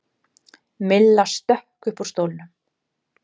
Milla stökk upp úr stólnum.